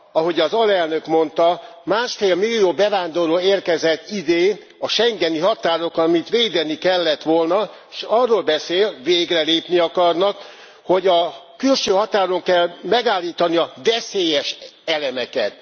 Ahogy az alelnök mondta, másfél millió bevándorló érkezett idén a schengeni határokon, amit védeni kellett volna, s arról beszél végre lépni akarnak hogy a külső határon kell megállítani a veszélyes elemeket.